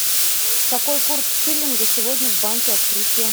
какой курс шиллинга сегодня в банке открытие